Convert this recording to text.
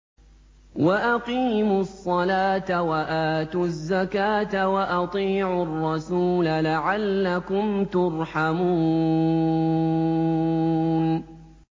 وَأَقِيمُوا الصَّلَاةَ وَآتُوا الزَّكَاةَ وَأَطِيعُوا الرَّسُولَ لَعَلَّكُمْ تُرْحَمُونَ